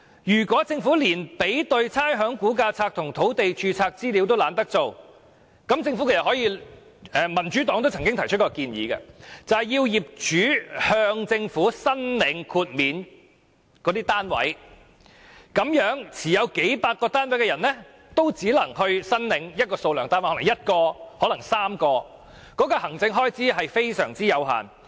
如果政府連比對差餉估價冊和土地註冊資料也懶做，民主黨亦曾提出，規定業主向政府申領豁免單位的數目，持數百個單位的人也只能就某一數目的單位申領豁免，可能是1個，可能是3個，這方面的行政開支極為有限。